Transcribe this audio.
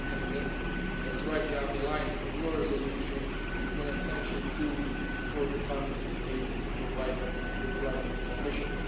This mechanism, as rightly underlined in your resolution, is an essential tool for the country to be able to provide replies to the Commission.